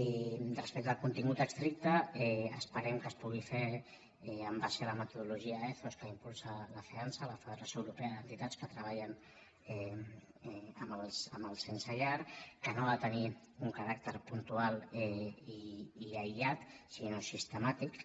i respecte al contingut estricte esperem que es pugui fer en base a la metodologia ethos que impulsa la feantsa la federació europea d’entitats que treballen amb els sense llar que no ha de tenir un caràcter puntual i aïllat sinó sistemàtic